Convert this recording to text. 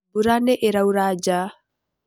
Mbura nĩ ĩraura nja.